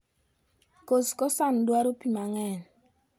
Kos kosan dwaro pii mang'eny."